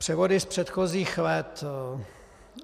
Převody z předchozích let.